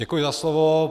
Děkuji za slovo.